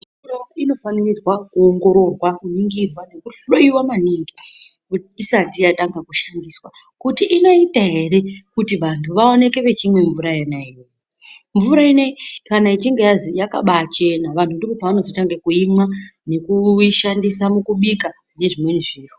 Mvura inofanirwa kuningirwa nekuhloiwa maningi isati yatanga kushandiswa. Kuti inoita ere kuti vantu vaoneke vechimwa mvura iyoyo. Mvura ineyi kana ichinge yazi yakabaachena vantu pavanozotanga kuimwa nekuishandisa mukubika nezvimweni zviro.